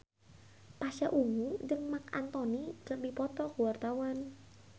Pasha Ungu jeung Marc Anthony keur dipoto ku wartawan